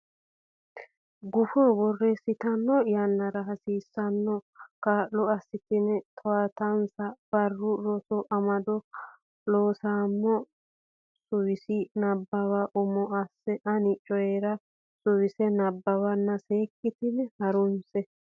gufo borreessitanno yannara hasiissanno kaa lo assitanni towaatinsa Barru Rosi Amado Looseemmo Suwise nabbawa umo asse ani Coyi ra suwise nabbawanna seekkitine ha runse.